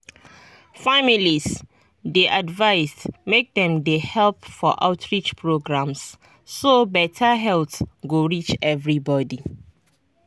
families dey advised make dem dey help for outreach programs so beta health go reach everybody.